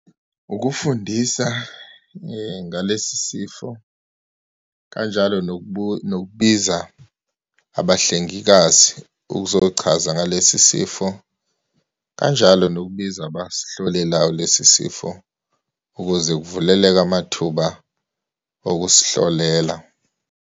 Ukufundisa ngalesi sifo kanjalo nokubiza abahlengikazi ukuzochaza ngalesi sifo, kanjalo nokubiza abasihlolelayo lesi sifo, ukuze kuvuleleke amathuba okusihlolela.